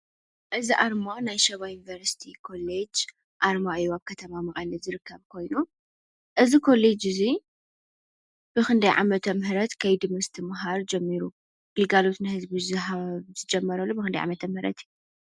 እዚ ኣርማ ናይ ሸባ ዩኒቨርሲቲ ኮሌጅ ይበሃል። እዚ ኮሌጅ እዚ ኣብ ከተማ መቀለ ይርከብ እዚ ኮለጅ እዚ ኣብ ክንደይ ዓመተ ምህረት ከይዲ ምስትምሃር ጀሚሩ ግልጋሎት ንህዝቢ ምሃብ ጀሚሩ ብክንደይ ኦኣመተ ምህረት እዩ?